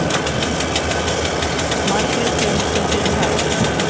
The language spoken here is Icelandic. Margrét Jónsdóttir kaj